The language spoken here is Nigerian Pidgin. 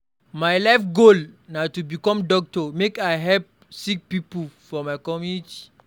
My life goal na to become doctor make I help sick pipo for my community.